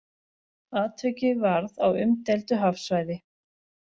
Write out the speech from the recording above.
Atvikið varð á umdeildu hafsvæði